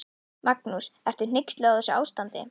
Magnús: Ertu hneyksluð á þessu ástandi?